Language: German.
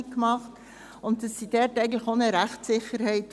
Sie brauchen dort eine Rechtssicherheit.